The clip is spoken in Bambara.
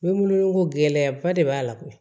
Bɛ munumunu ko gɛlɛyaba de b'a la koyi